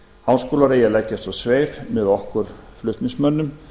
háskólar eigi að leggjast á sveif með okkur flutningsmönnum